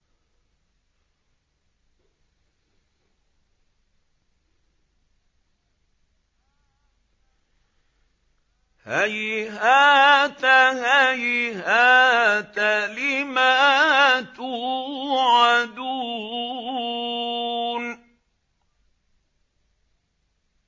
۞ هَيْهَاتَ هَيْهَاتَ لِمَا تُوعَدُونَ